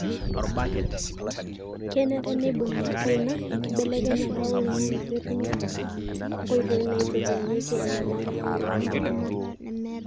kenare neibungi enkaina enkibelekenyata oloingange petumi anoto nkoitoi naitadounyieki enyamali enye.